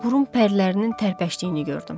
Burun pərlərinin tərpəşdiyini gördüm.